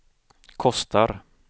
kostar